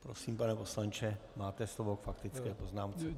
Prosím, pane poslanče, máte slovo k faktické poznámce.